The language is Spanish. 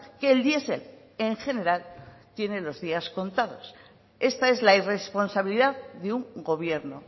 que el diesel en general tiene los días contados esta es la irresponsabilidad de un gobierno